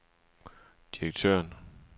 direktøren